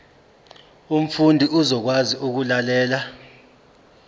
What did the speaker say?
umfundi uzokwazi ukulalela